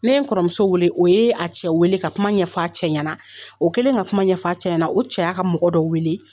Ne ye n kɔrɔmuso weele, o yee a cɛ weele ka kuma ɲɛf'a cɛ ɲɛna. O kɛlen ka kuma ɲɛf'a cɛ ɲɛna, o cɛ y'a ka mɔgɔ dɔ weele